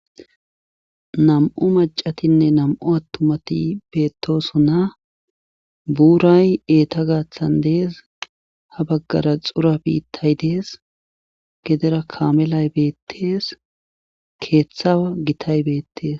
Nam7u maccatinne nam7u attumati beettoosona buuray eetha gaathan dees ha baggara xura biittay dees gedera kaamelay beettes keetha gitay beettes.